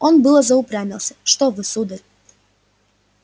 он было заупрямился что вы сударь